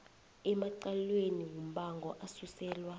emacaleni wombango asuselwa